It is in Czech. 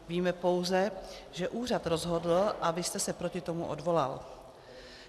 Víme pouze, že úřad rozhodl a vy jste se proti tomu odvolal.